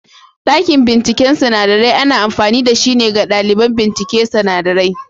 Dakin bincike sinadarai ana amfani da shi ne ga ɗaliban bincike sinadarai.